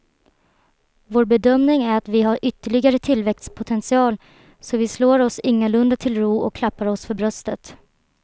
Vår bedömning är att vi har ytterligare tillväxtpotential så vi slår oss ingalunda till ro och klappar oss för bröstet.